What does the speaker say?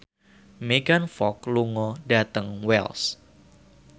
Megan Fox lunga dhateng Wells